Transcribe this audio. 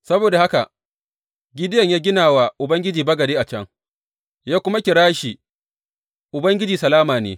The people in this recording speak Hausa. Saboda haka Gideyon ya gina wa Ubangiji bagade a can, ya kuma kira shi, Ubangiji Salama ne.